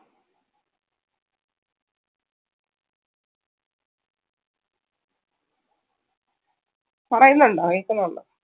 പറയുന്നുണ്ടോ കേക്കുന്നുണ്ടോ